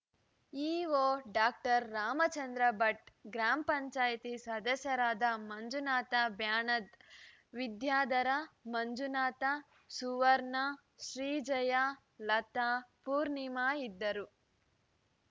EO doctor Ramachandra Bhat ಗ್ರಾಮ ಪಂಚಾಯತಿ ಸದಸ್ಯರಾದ ಮಂಜುನಾಥ ಬ್ಯಾಣದ್‌ ವಿದ್ಯಾಧರ ಮಂಜುನಾಥ ಸುವರ್ಣ ಶ್ರೀಜಯ ಲತಾ ಪೂಣಿಮಾ ಇದ್ದರು